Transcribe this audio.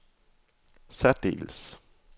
særdeles